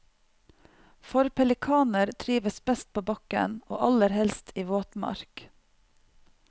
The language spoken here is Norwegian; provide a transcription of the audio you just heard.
For pelikaner trives best på bakken, og aller helst i våtmark.